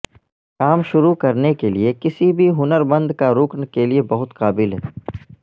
کام شروع کرنے کے لئے کسی بھی ہنر مند کارکن کے لئے بہت قابل ہے